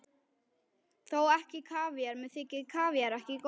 Þó ekki kavíar, mér þykir kavíar ekki góður.